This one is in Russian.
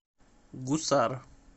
гусар